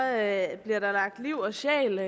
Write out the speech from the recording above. at man skal